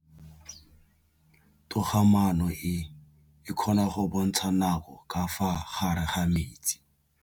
Toga-maanô e, e kgona go bontsha nakô ka fa gare ga metsi.